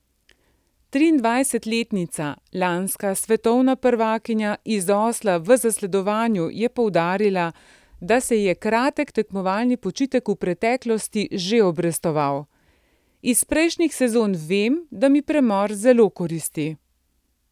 Triindvajsetletnica, lanska svetovna prvakinja iz Osla v zasledovanju, je poudarila, da se ji je kratek tekmovalni počitek v preteklosti že obrestoval: 'Iz prejšnjih sezon vem, da mi premor zelo koristi.